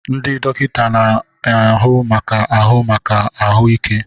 Ndị dọkịta na-ahụ maka ahụ maka ahụ ike.